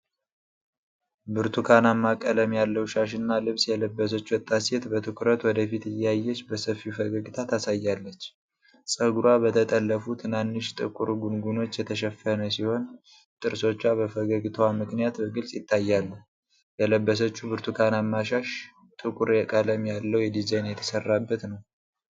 ብርቱካንማ ቀለም ያለው ሻሽና ልብስ የለበሰች ወጣት ሴት በትኩረት ወደ ፊት እያየች በሰፊው ፈገግታ ታሳያለች። ፀጉሯ በተጠለፉ ትናንሽ ጥቁር ጉንጉኖች የተሸፈነ ሲሆን፤ ጥርሶቿ በፈገግታዋ ምክንያት በግልጽ ይታያሉ። የለበሰችው ብርቱካንማ ሻሽ ጥቁር ቀለም ያለው ዲዛይን የተሰራበት ነው።